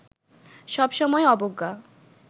সব সময়ই অবজ্ঞা